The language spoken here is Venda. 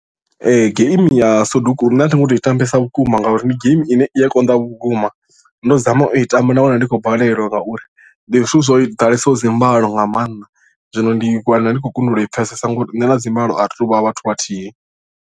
Ee game ya soduku nṋe a thi ngo tou i tambesa vhukuma ngauri ndi game ine i a konḓa vhukuma ndo zama u i tamba nda wana ndi khou balelwa ngauri ndi zwithu zwo ḓalesaho dzi mbalo nga maanḓa zwino ndi wana ndi khou kundelwa u i pfhesesa ngori nṋe na dzimbalo ari tu vha vhathu vhathihi.